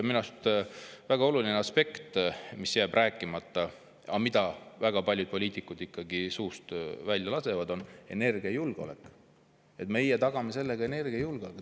Minu arust väga oluline aspekt, mis jääb rääkimata,, et väga paljud poliitikud suust välja, et me tagame sellega energiajulgeoleku.